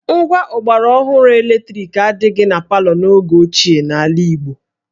Ngwa ọgbaraọhụrụ eletriki adịghị na palọ n'oge ochie n'ala Igbo